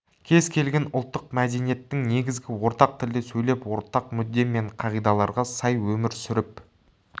кез келген ұлттық мәдениеттің негізі ортақ тілде сөйлеп ортақ мүдде мен қағидаларға сай өмір сүріп